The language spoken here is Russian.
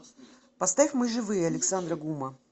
поставь мы живые александра гума